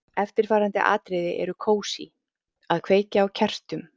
Eftirfarandi atriði eru kósí: Að kveikja á kertum.